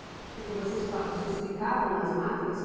Porque vocês pa, vocês ficavam nas máquinas?